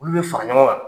Olu bɛ fara ɲɔgɔn kan